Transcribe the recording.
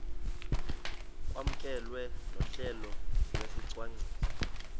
kwamkelwe nohlelo lwesicwangciso